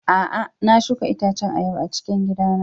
A'a, na shuka itacen ayaba a cikin gidana.